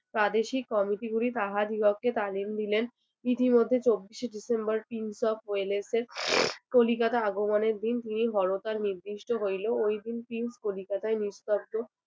প্রাদেশিক committee গুলি তাহাদিগকে তালিম দিলেন ইতি মধ্যে চব্বিশে ডিসেম্বর prince of wales এর কলিকাতা আগমনের দিন তিনি বড় তার নির্দিষ্ট হইলেও ওই দিন prince কলিকাতায় নিস্তব্ধ